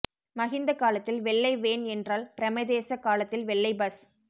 மஹிந்த காலத்தில் வெள்ளை வேன் என்றால் பிரேமதாச காலத்தில் வெள்ளை பஸ்